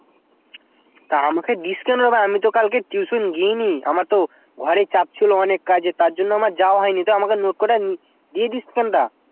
তা আমাকে দিস কেন তা আমি তো কাল tuition গীয়ানি আমার তো ঘরে চাপ ছিল অনেক কাজ এর তারজন্য আমার যাওয়া হয়নি তা আমাকে note কোটা দিয়ে দিস কেন তা